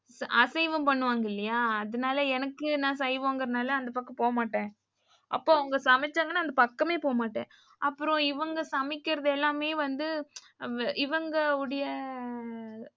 அசைவம் பண்ணுவாங்க இல்லையா அதுனால எனக்கு நா சைவங்குறதால அந்த பக்கம் போமாட்டேன். அப்போ அவங்க சமைச்சாங்கன்னா அந்த பக்கமே போமாட்டேன். அப்புறம் இவங்க சமைக்குறது எல்லாமே வந்து இவங்க உடைய,